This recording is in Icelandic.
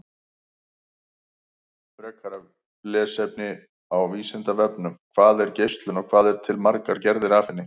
Frekara lesefni á Vísindavefnum: Hvað er geislun og hvað eru til margar gerðir af henni?